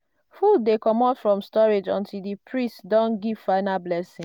food dey comot from storage until di priest don give final blessing.